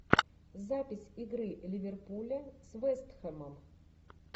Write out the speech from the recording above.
запись игры ливерпуля с вест хэмом